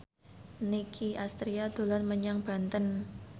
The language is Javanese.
Nicky Astria dolan menyang Banten